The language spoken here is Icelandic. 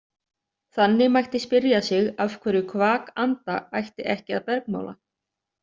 Þannig mætti spyrja sig af hverju kvak anda ætti ekki að bergmála.